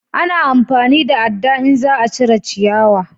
A na amfani da adda in za a cire ciyawa